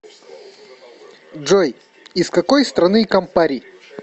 джой из какой страны кампари